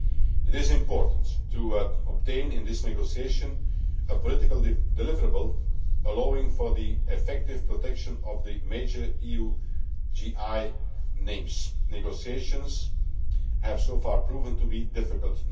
EU. It is important to obtain in this negotiation a political deliverable allowing for the effective protection of the major EU GI names. Negotiations have so far proven to be difficult.